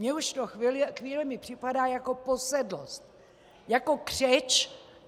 Mně už to chvílemi připadá jako posedlost, jako křeč.